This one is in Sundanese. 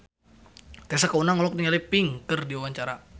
Tessa Kaunang olohok ningali Pink keur diwawancara